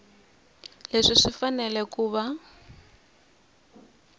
leswi swi fanele ku va